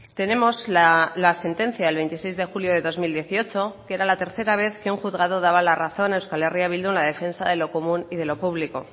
tenemos la sentencia del veintiséis de julio de dos mil dieciocho que era la tercera vez que un juzgado daba la razón a euskal herria bildu en la defensa de lo común y de lo público